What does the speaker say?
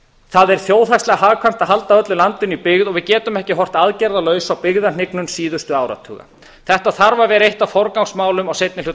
það er þjóðhagslega hagkvæmt að halda öllu landinu í byggð við getum ekki horft aðgerðalaus á byggðahnyggnum síðustu áratuga þetta þarf að vera eitt af forgangsmálum á seinni hluta